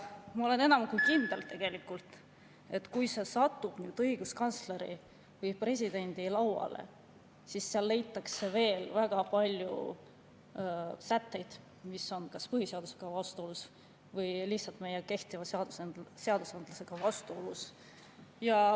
Ma olen enam kui kindel, et kui see satub õiguskantsleri või presidendi lauale, siis sealt leitakse veel väga palju sätteid, mis on vastuolus kas põhiseadusega või lihtsalt meie kehtivate seadustega.